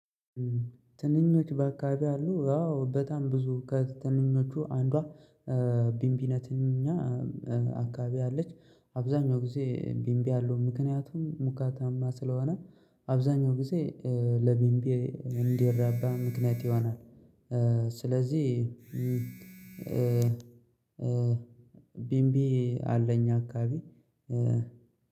ትንኞች በአካባቢ አሉ። አዎ በጣም ብዙ ከትንኞቹ አንዷ ቢንቢነትኛ እኛ አካባቢ አለች አብዛኛው ጊዜ ቢንቢ ያለው ምክንያቱም ሙቀታማ ስለሆነ አብዛኛው ጊዜ ለቢምቢ እንዲረባ ምክንያት ይሆናል። ስለዚህ ቢምቢ አለ። እኛ አካባቢ